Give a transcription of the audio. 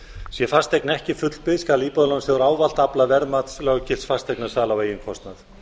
sé fasteign ekki fullbyggð skal íbúðalánasjóður ávallt afla verðmats löggilts fasteignasala á eigin kostnað